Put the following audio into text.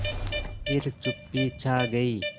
फिर चुप्पी छा गई